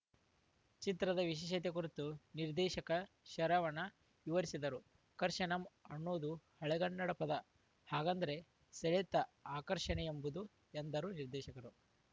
ಚಿತ್ರದ ವಿಶೇಷತೆ ಕುರಿತು ನಿರ್ದೇಶಕ ಶರವಣ ವಿವರಿಸಿದರು ಕರ್ಷಣಂ ಅನ್ನೋದು ಹಳಗನ್ನಡ ಪದ ಹಾಗಂದ್ರೆ ಸೆಳೆತ ಆಕರ್ಷಣೆ ಎಂಬುದು ಎಂದರು ನಿರ್ದೇಶ